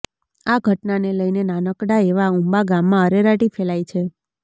આ ઘટનાને લઈને નાનકડા એવા ઉંબા ગામમાં અરેરાટી ફેલાઈ છે